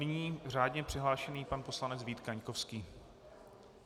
Nyní řádně přihlášený pan poslanec Vít Kaňkovský.